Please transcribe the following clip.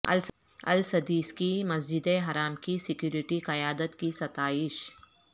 السدیس کی مسجد حرام کی سیکوریٹی قیادت کی ستائش